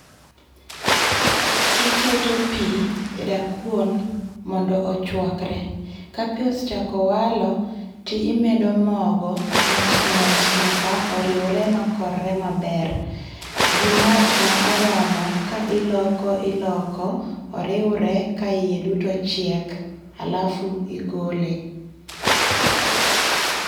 Iketo pi e da kuon mondo ochuakre, ka pi osechako walo ti imedo mogo mos mos nyaka oriwre ma korre maber, gi mach ma oromo ki iloko iloko oriwre ka iye duto chiek ,alafu igole.